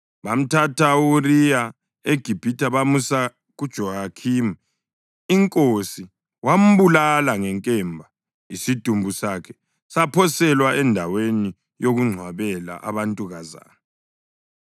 Bamthatha u-Uriya eGibhithe bamusa kuJehoyakhimi inkosi wambulala ngenkemba isidumbu sakhe saphoselwa endaweni yokungcwabela abantukazana.)